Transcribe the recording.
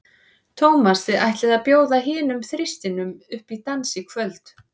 Tómas, þið ætlið að bjóða hinum þristinum upp í dans í kvöld?